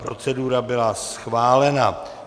Procedura byla schválena.